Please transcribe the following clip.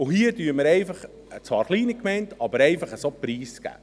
Und hier geben wir eine zwar kleine Gemeinde einfach so preis.